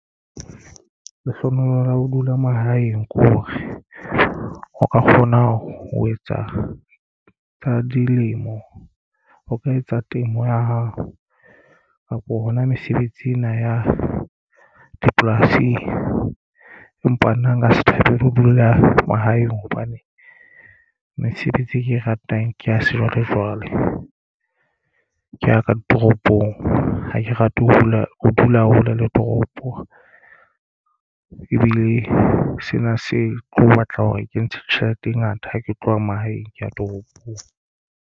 Lehlohonolo la ho dula mahaeng ke hore o ka kgona ho etsa tsa dilemo o ka etsa temo ya hao kapo hona mesebetsi ena ya dipolasing. Empa nna nka se thabele ho dula mahaeng hobane mesebetsi e ke e ratang ke ya sejwalejwale ke ya ka ditoropong ha ke rate ho dula hole le toropo ebile sena se tlo batla hore ke ntshe tjhelete e ngata ha ke tloha mahaeng ke ya toropong.